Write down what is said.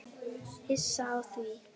Hissa á því?